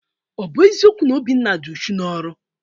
Ọ bụ eziokwu na Obinna dị uchu n'ọrụ?